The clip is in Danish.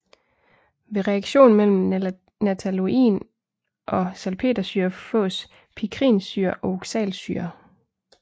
Ved reaktion mellem nataloin og salpetersyre fås pikrinsyre og oxalsyre